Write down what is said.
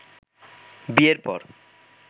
বিয়ের পর